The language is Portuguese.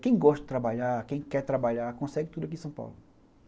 Quem gosta de trabalhar, quem quer trabalhar, consegue tudo aqui em São Paulo.